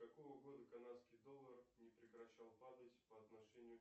какого года канадский доллар не прекращал падать по отношению